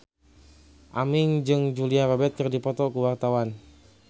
Aming jeung Julia Robert keur dipoto ku wartawan